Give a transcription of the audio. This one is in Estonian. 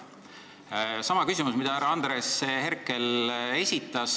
See on sama küsimus, mille härra Andres Herkel esitas.